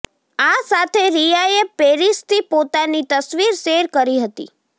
આ સાથે રિયાએ પેરિસથી પોતાની તસવીર શેર કરી હતી